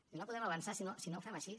i no podrem avançar si no ho fem així